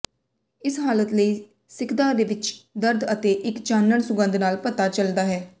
ਇਸ ਹਾਲਤ ਲਈ ਸਿੱਖਦਾ ਵਿੱਚ ਦਰਦ ਅਤੇ ਇੱਕ ਚਾਨਣ ਸੁਗੰਧ ਨਾਲ ਪਤਾ ਚੱਲਦਾ ਹੈ